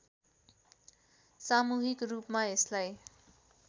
सामूहिक रूपमा यसलाई